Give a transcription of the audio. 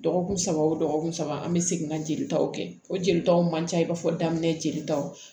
Dɔgɔkun saba wo dɔgɔkun saba an bɛ segin ka jelitaw kɛ o jelitaw man ca i b'a fɔ daminɛ jelitaw